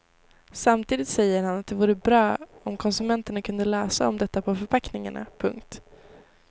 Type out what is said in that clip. Samtidigt säger han att det vore bra om konsumenterna kunde läsa om detta på förpackningarna. punkt